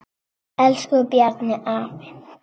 Elsku Bjarni afi.